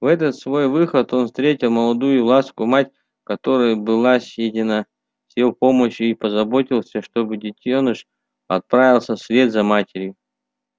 в этот свой выход он встретил молодую ласку мать которой была съедена с его помощью и позаботился чтобы детёныш отправился вслед за матерью